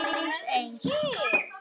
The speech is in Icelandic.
Aldís Eir.